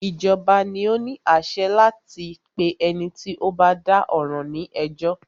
Ìjọba ni o ní àṣẹ láti pé ẹni tí o bá dá ọ̀ràn ní ẹjọ́.